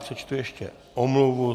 Přečtu ještě omluvu.